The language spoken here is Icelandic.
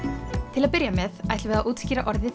til að byrja með ætlum við að útskýra orðið